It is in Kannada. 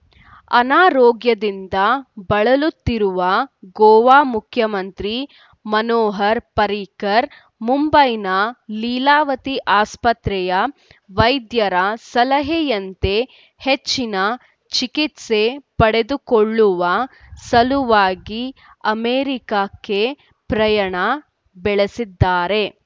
ಅನಾರೋಗ್ಯದಿಂದ ಬಳಲುತ್ತಿರುವ ಗೋವಾ ಮುಖ್ಯಮಂತ್ರಿ ಮನೋಹರ್‌ ಪರ್ರಿಕರ್‌ ಮುಂಬೈನ ಲೀಲಾವತಿ ಆಸ್ಪತ್ರೆಯ ವೈದ್ಯರ ಸಲಹೆಯಂತೆ ಹೆಚ್ಚಿನ ಚಿಕಿತ್ಸೆ ಪಡೆದುಕೊಳ್ಳುವ ಸಲುವಾಗಿ ಅಮೆರಿಕಕ್ಕೆ ಪ್ರಯಾಣ ಬೆಳೆಸಿದ್ದಾರೆ